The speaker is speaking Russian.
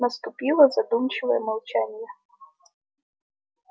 наступило задумчивое молчание